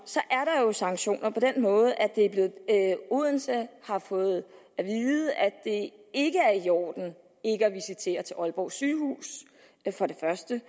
er der jo sanktioner på den måde at odense har fået at vide at det ikke er i orden ikke at visitere til aalborg sygehus for det første